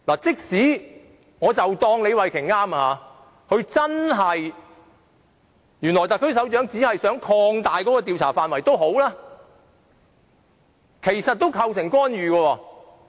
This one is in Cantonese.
即使我假設李慧琼議員所說是對的，特區首長只想擴大調查範圍，但其實也構成干預。